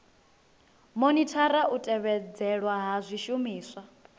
monithara u tevhedzelwa ha zwishumiswa